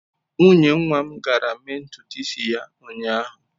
Nwunye nwa m gara mee ntutu isi ya ụnyahụ.